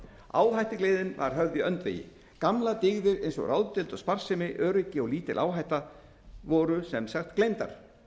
áhættugleðin var höfð í öndvegi gamlar dyggðir eins og ráðdeild og sparsemi öryggi og lítil áhætta voru sem sagt gleymdar